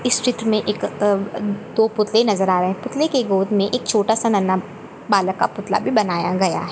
इस चित्र मैं एक अ-दो पुतले नज़र आ रहे है पुतले के गोद मैं एक छोटा सा नन्हा बालक का पुतला भी बनाया गया है।